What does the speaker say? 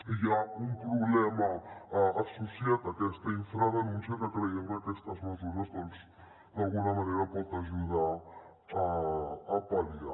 i hi ha un problema associat a aquesta infradenúncia que creiem que aquestes mesures doncs d’alguna manera poden ajudar a pal·liar